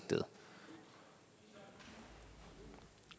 at